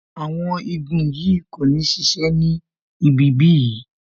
Awon igun yìí kò ní sise ni ibi bí yìí